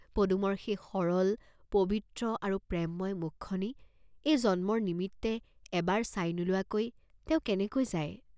পদুমৰ সেই সৰল, পবিত্ৰ আৰু প্ৰেমময় মুখখনি এই জন্মৰ নিমিত্তে এবাৰ চাই নোলোৱাকৈ তেওঁ কেনেকৈ যায়?